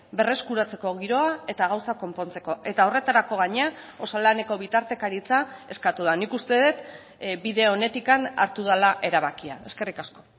berreskuratzeko giroa eta gauzak konpontzeko eta horretarako gainera osalaneko bitartekaritza eskatu da nik uste dut bide onetik hartu dela erabakia eskerrik asko